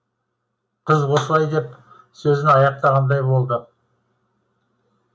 қыз осылай деп сөзін аяқтағандай болды